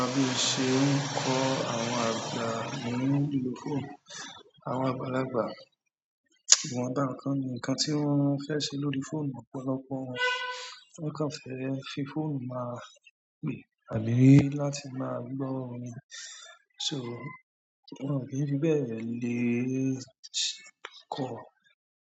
Bí o ṣe ń kọ́ àwọn àgbà ní nìló fóònù, àwọn àgbàlagbà? Ìwọ̀n ba nǹkan ni nǹkan tí wọ́n fẹ ṣe lórí fóònù, ọ̀pọ̀lọpọ̀ wọn, wọ́n kàn fẹ fi fóònù máa pè àbí láti máa gbọ́ orin, so wọ́n ọ̀n kìí n fi bẹ́ẹ̀ lè ṣ-- kọ̀